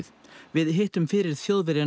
við hittum fyrir Þjóðverjann